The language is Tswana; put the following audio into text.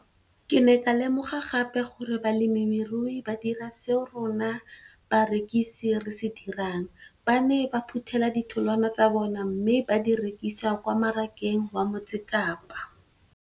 Ke ne ka lemoga gape gore balemirui ba dira seo rona barekisi re se dirang - ba ne ba phuthela ditholwana tsa bona mme ba di rekisa kwa marakeng wa Motsekapa.